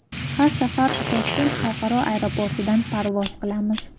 Har safar Toshkent xalqaro aeroportidan parvoz qilamiz.